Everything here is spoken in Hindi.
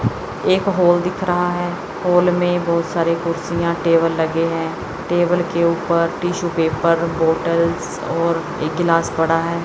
एक हॉल दिख रहा है हॉल में बहुत सारे कुर्सीयां टेबल लगे है टेबल के ऊपर टिशू पेपर बॉटल्स और एक गिलाश पड़ा है।